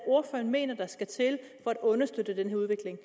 ordføreren mener der skal til for at understøtte den her udvikling